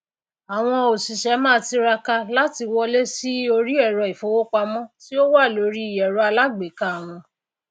àwọn òsìsé máá tiraka láti wọlé sí orí èrò ìfowópamó tí ó wà lórí èrọ aalágbèéká wọn